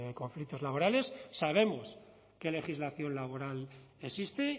conflictos laborales sabemos qué legislación laboral existe